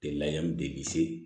De la yan de bi se